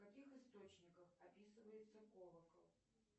в каких источниках описывается колокол